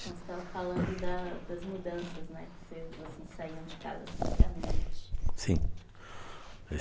Nós estamos falando da das mudanças, né? Vocês, assim, saindo de casa.sem internet... Sim, faz